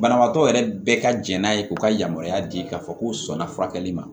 Banabaatɔ yɛrɛ bɛɛ ka jɛn n'a ye k'u ka yamaruya di ka fɔ k'u sɔnna furakɛli ma